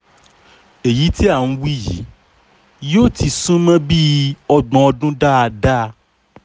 èyí tí à ń wí yìí yóò ti sún mọ́ bíi ọgbọ̀n ọdún dáadáa